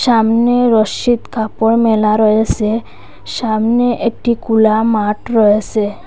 সামনে রশ্মিত কাপড় মেলা রয়েসে সামনে একটি কোলা মাঠ রয়েসে ।